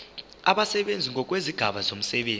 abasebenzi ngokwezigaba zomsebenzi